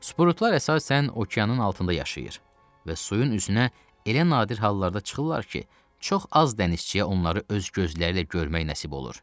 Sprutlar əsasən okeanın altında yaşayır və suyun üzünə elə nadir hallarda çıxırlar ki, çox az dənizçiyə onları öz gözləriylə görmək nəsib olur.